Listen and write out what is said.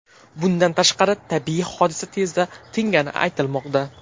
Bundan tashqari, tabiiy hodisa tezda tingani aytilmoqda.